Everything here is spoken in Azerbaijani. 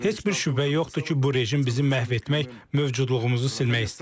Heç bir şübhə yoxdur ki, bu rejim bizi məhv etmək, mövcudluğumuzu silmək istəyir.